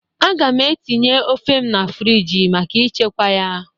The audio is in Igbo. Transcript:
Aga m etinye ofe m na friji maka ichekwa ya.